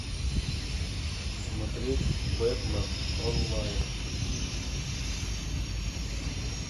смотреть бэтмен онлайн